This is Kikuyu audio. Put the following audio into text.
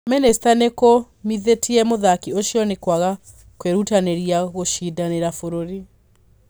Minista nikũmithitie mũthaki ũcio ni kwaga kũirutaniria gũcindanira bũruri